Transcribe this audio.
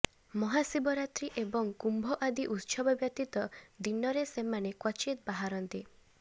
ମହାଶିବରାତ୍ରି ଏବଂ କୁମ୍ଭ ଆଦି ଉତ୍ସବ ବ୍ୟତୀତ ଦିନରେ ସେମାନେ କ୍ୱଚିତ୍ ବାହାରନ୍ତି